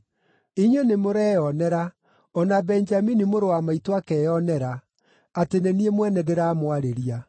“Inyuĩ nĩmũreyonera, o na Benjamini mũrũ wa maitũ akeyonera, atĩ nĩ niĩ mwene ndĩramwarĩria.